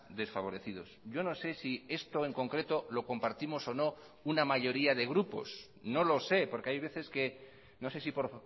desfavorecidos yo no sé si esto en concreto lo compartimos o no una mayoría de grupos no lo sé porque hay veces que no sé si por